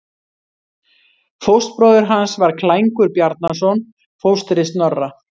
Fóstbróðir hans var Klængur Bjarnason, fóstri Snorra.